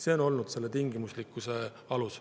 See on olnud selle tingimuslikkuse alus.